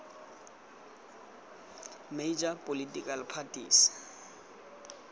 major political parties